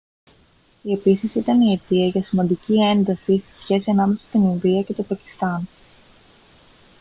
η επίθεση ήταν η αιτία για σημαντική ένταση στη σχέση ανάμεσα στην ινδία και το πακιστάν